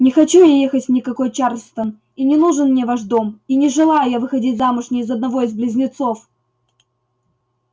не хочу я ехать ни в какой чарльстон и не нужен мне ваш дом и не желаю я выходить замуж ни за одного из близнецов